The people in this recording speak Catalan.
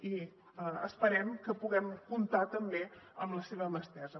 i esperem que puguem comptar també amb la seva mà estesa